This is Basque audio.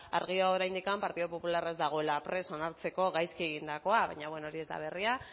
argiago oraindik partido popularra ez dagoela prest onartzeko gaizki egindakoa baina bueno hori ez da berria